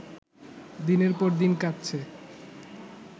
দিনের পর দিন কাটছে